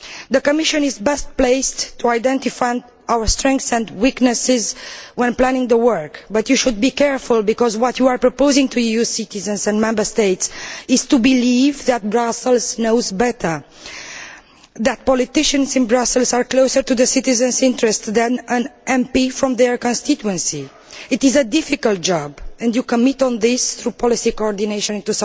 The Commission is best placed to identify our strengths and weaknesses when planning work. But you should be careful, because what you are proposing to EU citizens and Member States is that they should believe that Brussels knows better, and that politicians in Brussels are closer to the citizen' interests than an MP from their constituency. It is a difficult job, and you will commit to this through policy coordination in